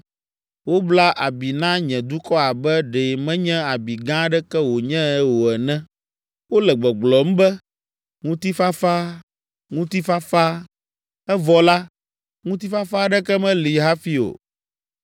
Wobla abi na nye dukɔ abe ɖe menye abi gã aɖeke wònye o ene. Wole gbɔgblɔm be, ‘Ŋutifafa, ŋutifafa.’ Evɔ la, ŋutifafa aɖeke meli hafi o.